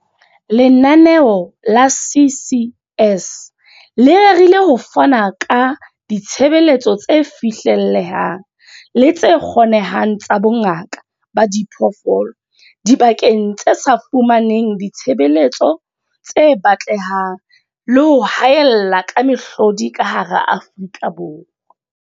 Lenaneo la CCS le rerile ho fana ka ditshebeletso tse fihlellehang le tse kgonehang tsa bongaka ba diphoofolo dibakeng tse sa fumaneng ditshebeletso tse batlehang le ho haella ka mehlodi ka hara Afrika Borwa.